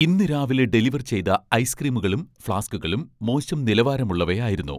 ഇന്ന് രാവിലെ ഡെലിവർ ചെയ്ത ഐസ്ക്രീമുകളും ഫ്ലാസ്കുകളും മോശം നിലവാരമുള്ളവയായിരുന്നു.